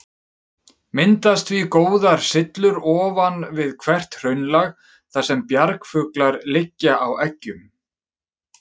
Myndast því góðar syllur ofan við hvert hraunlag, þar sem bjargfuglar liggja á eggjum.